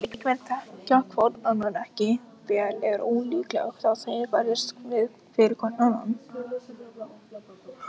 Ef leikmenn þekkja hvorn annan ekki vel er ólíklegt að þeir berjist fyrir hvorn annan.